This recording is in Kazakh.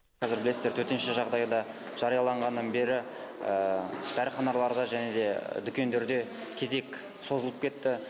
қазір білесіздер төтенше жағдайда жарияланғаннан бері дәріханаларда және де дүкендерде кезек созылып кетті